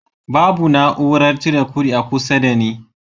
Babu na'urar cire kudi a kusa da ni